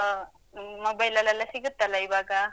ಆ, mobile ಲ್ಲೆಲ್ಲ ಸಿಗುತ್ತಲ್ಲ ಈವಾಗ?